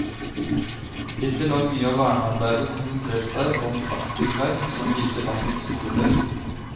Hittil har mye av vernearbeidet konsentrert seg om praktbyggverk som viser landets storhet.